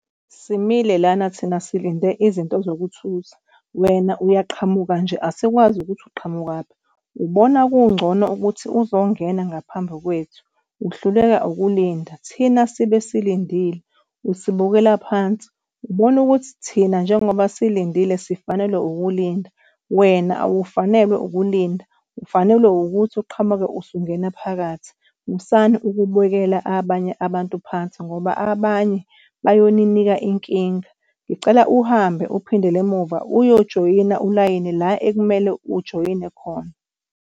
Simile lana thina silinde izinto zokuthutha wena uyaqhamuka nje, asikwazi ukuthi uqhamukaphi. Ubona kungcono ukuthi uzongena ngaphambi kwethu uhluleka ukulinda thina sibe silindile, usibukela phansi. Ubona ukuthi thina njengoba silindile sifanelwe ukulinda wena awufanelwe ukulinda. Ufanelwe ukuthi uqhamuke usungena phakathi. Musani ukubukela abanye abantu phansi ngoba abanye bayoninika inkinga. Ngicela uhambe uphindele emuva uyojoyina ulayini la ekumele ujoyine khona.